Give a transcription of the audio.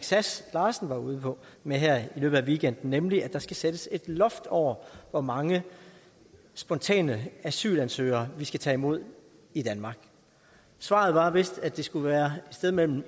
sass larsen var ude med her i løbet af weekenden nemlig at der skal sættes et loft over hvor mange spontane asylansøgere vi skal tage imod i danmark svaret var vist at det skulle være et sted mellem